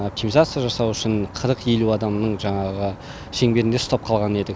оптимизация жасау үшін қырық елу адамның жаңағы шеңберінде ұстап қалған едік